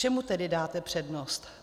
Čemu tedy dáte přednost?